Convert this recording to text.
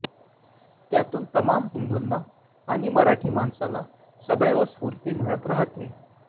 त्यातून तमाम हिंदूंना आणि मराठी माणसाला सदैव स्फूर्ती मिळत राहते